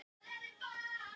Telur bannið mismuna fólki